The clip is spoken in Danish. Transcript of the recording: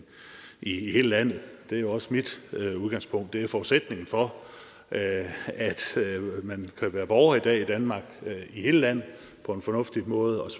i hele landet det er jo også mit udgangspunkt det er forudsætningen for at man kan være borger i dag i danmark i hele landet på en fornuftig måde og